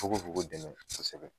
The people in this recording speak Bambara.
Fogo fogo dɛmɛ kosɛbɛ.